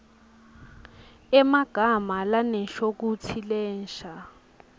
emagama lanenshokutsi lensha